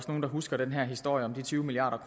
nogle der husker den her historie om de tyve milliard